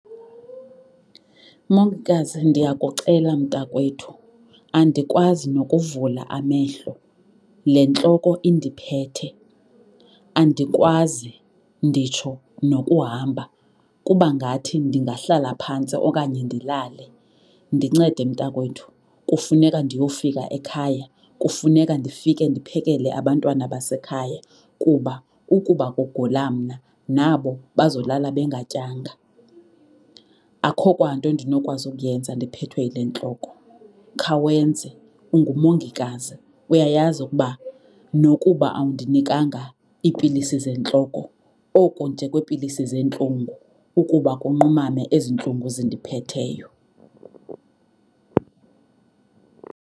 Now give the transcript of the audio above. Mongikazi, ndiyakucela mntakwethu andikwazi nokuvula amehlo le ntloko indiphethe. Andikwazi nditsho nokuhamba kuba ngathi ndingahlala phantsi okanye ndilale. Ndincede mntakwethu, kufuneka ndiyofika ekhaya. Kufuneka ndifike ndiphekele abantwana basekhaya kuba ukuba kugula mna nabo bazolala bengatyanga. Akho kwanto ndinokwazi ukuyenza ndiphethwe yile ntloko. Khawenze, ungumongikazi! Uyayazi ukuba nokuba awundinikanga iipilisi zentloko oko nje kweepilisi zeentlungu ukuba kunqumame ezi ntlungu zindiphetheyo.